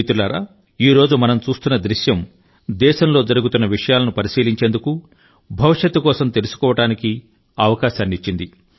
మిత్రులారా ఈ రోజు మనం చూస్తున్న దృశ్యం దేశంలో జరుగుతున్న విషయాలను పరిశీలించేందుకు భవిష్యత్తు కోసం తెలుసుకోవడానికి అవకాశాన్ని ఇచ్చింది